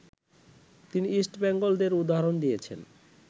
তিনি ইস্ট বেঙ্গলদের উদাহরণ দিয়েছেন